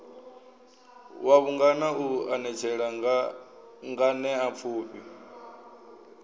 wa vhungana u anetshela nganeapfufhi